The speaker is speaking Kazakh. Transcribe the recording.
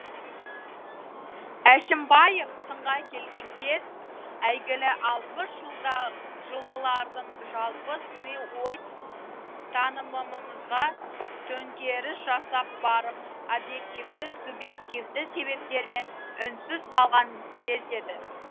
әшімбаев сынға келген кез әйгілі алпыс жылғылардың жалпы сыни ой танымымызға төңкеріс жасап барып объективті субъективті себептермен үнсіз қалған кезі еді